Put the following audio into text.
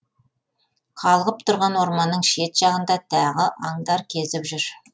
қалғып тұрған орманның шет жағында тағы аңдар кезіп жүр